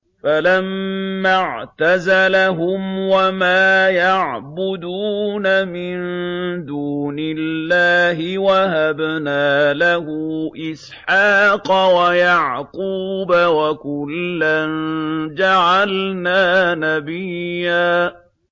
فَلَمَّا اعْتَزَلَهُمْ وَمَا يَعْبُدُونَ مِن دُونِ اللَّهِ وَهَبْنَا لَهُ إِسْحَاقَ وَيَعْقُوبَ ۖ وَكُلًّا جَعَلْنَا نَبِيًّا